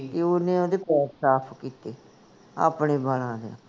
ਤੇ ਓਹਨੇ ਓਹਦੇ ਪੈਰ ਸਾਫ ਕੀਤੇ ਆਪਣੇ ਬਾਲਾਂ ਨਾਲ